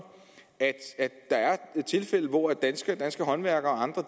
at der er tilfælde hvor danske håndværkere og andre